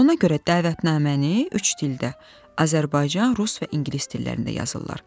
Ona görə dəvətnaməni üç dildə: Azərbaycan, rus və ingilis dillərində yazırlar.